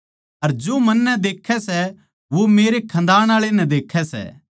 अर जो मन्नै देक्खै सै वो मेरै खन्दानआळै नै देक्खै सै